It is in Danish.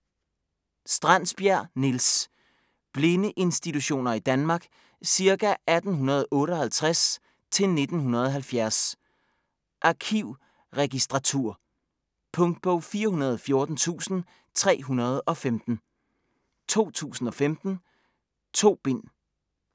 Strandsbjerg, Niels: Blindeinstitutioner i Danmark ca. 1858-1970 Arkivregistratur. Punktbog 414315 2015. 2 bind.